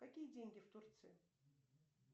какие деньги в турции